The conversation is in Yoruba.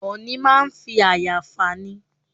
Ọ̀ọ̀nì máa ń fi àyà fà ni.